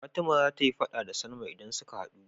Fatima zata yi faɗa da salma idan suka hadu